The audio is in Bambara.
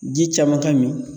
Ji caman ka min.